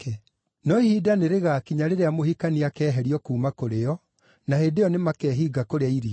No ihinda nĩrĩgakinya rĩrĩa mũhikania akeeherio kuuma kũrĩ o, na hĩndĩ ĩyo nĩmakehinga kũrĩa irio.”